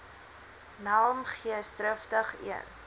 nelm geesdrigtig eens